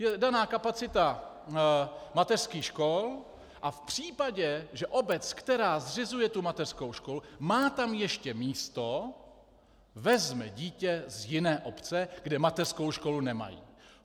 Je daná kapacita mateřských škol a v případě, že obec, která zřizuje tu mateřskou školu, má tam ještě místo, vezme dítě z jiné obce, kde mateřskou školu nemají.